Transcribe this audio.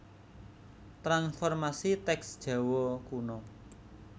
Transformasi Teks Jawa Kuna